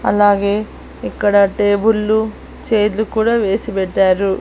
అలాగే ఇక్కడ టేబుల్లు చేర్లు కూడా వేసి పెట్టారు.